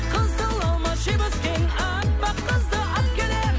қызыл алма жеп өскен аппақ қызды алып келемін